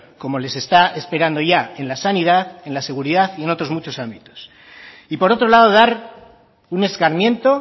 como les está esperando ya en la sanidad en la seguridad y en otros muchos ámbitos y por otro lado dar un escarmiento